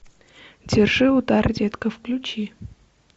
держи удар детка включи